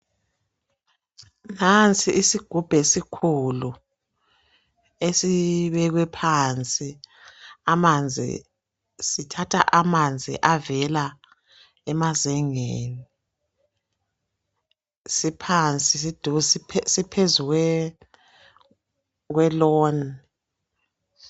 Nansi isigubhu esikhulu esibekwe phansi amanzi sithatha amanzi avela emazengeni. Siphansi siphezu kweloni.